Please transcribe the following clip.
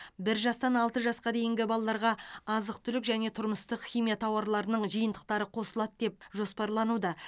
бір жастан алты жасқа дейінгі балаларға азық түлік және тұрмыстық химия тауарларының жиынтықтары қосылады деп жоспарлануда